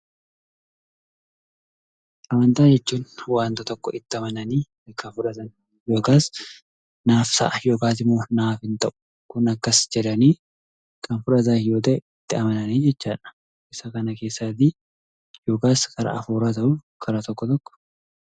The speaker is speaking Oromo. Amantaa jechuun waanta tokko itti amananii kan fudhatan yookaas naaf ta'a yookaas immoo naaf hin ta'u, kun akkas jedhanii kan fudhatan yoo ta'e, itti amananii jechaadha. Isa kana keessaatii yookaas hafuura haa ta'u karaa tokko tokko.